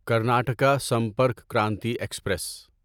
Karnataka Sampark Kranti express